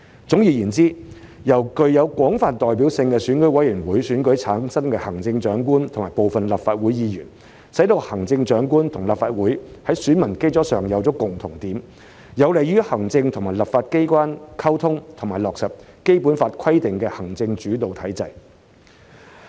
總而言之，由具有廣泛代表性的選委會選舉產生行政長官和部分立法會議員，使行政長官和立法會在選民基礎上有共同點，有利於行政和立法機關溝通及落實《基本法》規定的行政主導體制。